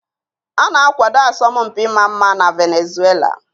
A na-akwado asọmpi ịma mma na Venezuela.